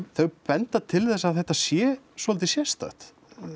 þau benda til þess að þetta sé svolítið sérstakt